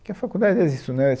que a faculdade é isso, né?